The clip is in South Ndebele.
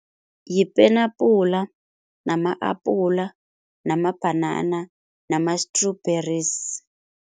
Yipenapula nama-apula namabhanana nama-strawberries.